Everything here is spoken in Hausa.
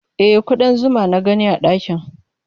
E, kuɗan zuma na gani a ɗakin.